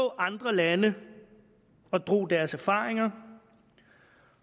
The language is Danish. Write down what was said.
andre lande deres erfaringer